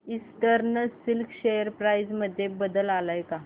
eastern Silk share price मध्ये बदल आलाय का